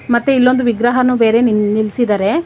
ಮತ್ತೆ ಇಲ್ಲಿ ಒಂದು ವಿಗ್ರಹನು ಬೇರೆ ನಿಲ್ಸಿದರೆ.